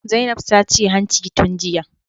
Zainab ta ce hanci tun jiya